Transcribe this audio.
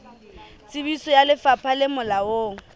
tsebiso ya lefapha le molaong